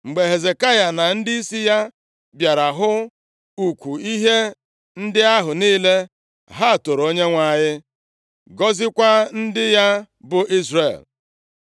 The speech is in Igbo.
Mgbe Hezekaya na ndịisi ya bịara hụ ukwu ihe ndị ahụ niile, ha toro Onyenwe anyị, gọziekwa ndị ya bụ Izrel.